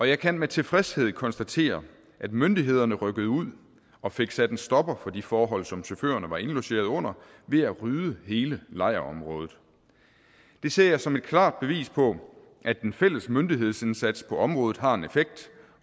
jeg kan med tilfredshed konstatere at myndighederne rykkede ud og fik sat en stopper for de forhold som chaufførne var indlogeret under ved at rydde hele lejrområdet det ser jeg som et klart bevis på at den fælles myndighedsindsats på området har en effekt